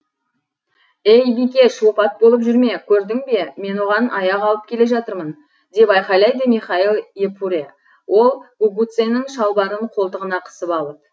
ей бикеш опат болып жүрме көрдің бе мен оған аяқ алып келе жатырмын деп айқайлады михаил епуре ол гугуцэнің шалбарын қолтығына қысып алып